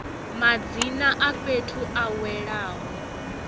madzina a fhethu a welaho